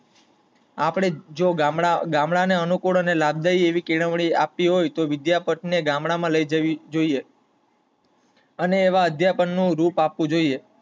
આપડે જો ગામડા ને અનુકૂળ ને લાભદાયી આવી કેળવાળી આપવી હોય તો વિદ્યાપિઠ ને ગામડા માં લઇ જવી જોઈએ અને આવા અધ્યાપન નું રૂપ આપવું જોઈએ